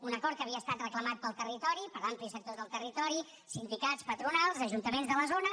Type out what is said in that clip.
un acord que havia estat reclamat pel territori per amplis sectors del territori sindicats patronals ajuntaments de la zona